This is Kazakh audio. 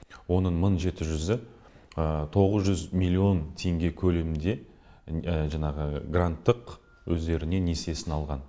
оның мың жеті жүзі тоғыз жүз миллион теңге көлемінде жаңағы гранттық өздеріне несиесін алған